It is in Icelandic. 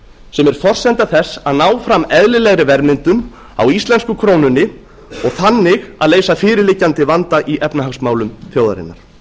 sem er forsenda þess að ná fram eðlilegri verðmyndun á íslensku krónunni og þannig að leysa fyrirliggjandi vanda í efnahagsmálum þjóðarinnar